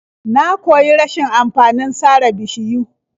Na koyi rashin amfanin sare bishiyu.